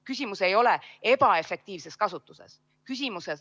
Küsimus ei ole ebaefektiivses kasutuses.